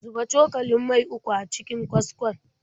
Zuba cokalin mai uku a cikin kaskon.